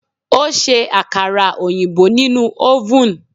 O ṣe àkàrà òyìnbó nínú ọ́vùn.